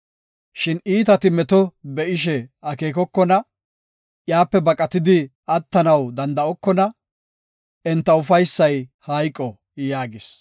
Shin iitati meto be7ishe akeekokona; iyape baqatidi attanaw danda7okona; Enta ufaysay hayqo” yaagis.